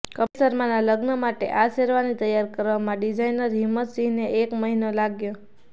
કપિલ શર્માના લગ્ન માટે આ શેરવાની તૈયાર કરવામાં ડિઝાઈનર હિમ્મત સિંહને એક મહિનો લાગ્યો